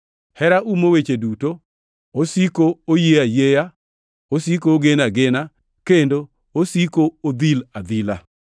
Hera umo weche duto, osiko oyie ayieya, osiko ogeno agena, kendo osiko odhil adhila.